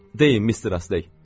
Deyin, Mister Astey!